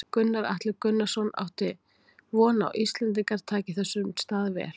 Gunnar Atli Gunnarsson: Áttu von á að Íslendingar taki þessum stað vel?